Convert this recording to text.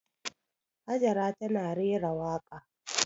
Hajara tana rera waƙa.